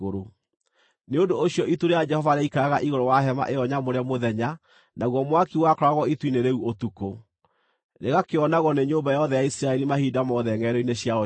Nĩ ũndũ ũcio itu rĩa Jehova rĩaikaraga igũrũ wa hema ĩyo nyamũre mũthenya, naguo mwaki wakoragwo itu-inĩ rĩu ũtukũ, rĩgakĩonagwo nĩ nyũmba yothe ya Isiraeli mahinda mothe ngʼendo-inĩ ciao ciothe.